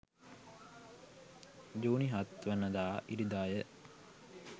ජුනි 7 වනදා ඉරිදාය.